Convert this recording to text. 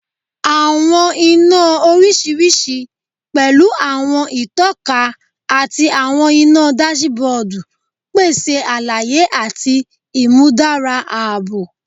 Awọn ina oriṣiriṣi, pẹlu awọn itọka ati awọn ina dasibodu, pese alaye ati imudara aabo